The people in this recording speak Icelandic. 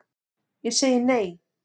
Ég segi nei,